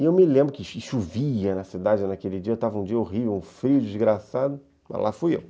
E eu me lembro que chovia na cidade naquele dia, estava um dia horrível, um frio desgraçado, mas lá fui eu.